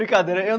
Brincadeira